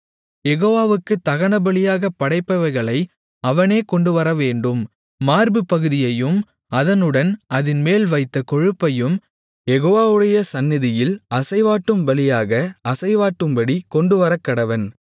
யெகோவாவுக்குத் தகனபலியாகப் படைப்பவைகளை அவனே கொண்டுவரவேண்டும் மார்புப்பகுதியையும் அதனுடன் அதின்மேல் வைத்த கொழுப்பையும் யெகோவாவுடைய சந்நிதியில் அசைவாட்டும் பலியாக அசைவாட்டும்படிக் கொண்டுவரக்கடவன்